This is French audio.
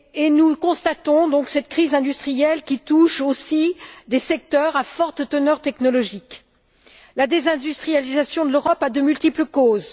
Nous constatons donc cette crise industrielle qui touche aussi des secteurs à forte teneur technologique. La désindustrialisation de l'Europe a de multiples causes.